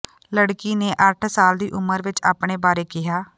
ਲੜਕੀ ਨੇ ਅੱਠ ਸਾਲ ਦੀ ਉਮਰ ਵਿਚ ਆਪਣੇ ਬਾਰੇ ਕਿਹਾ